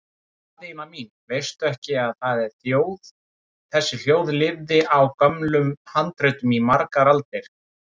Daðína mín, veistu ekki að þessi þjóð lifði á gömlum handritum í margar aldir?